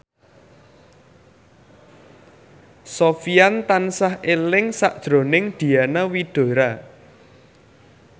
Sofyan tansah eling sakjroning Diana Widoera